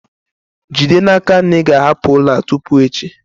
Jide n'aka na ị ga-ahapụ ụlọ a tupu echi!